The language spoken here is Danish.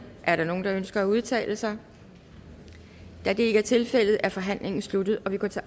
er der nogen der ønsker at udtale sig da det ikke tilfældet er forhandlingen sluttet og vi går til